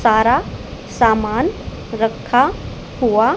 सारा सामान रखा हुआ--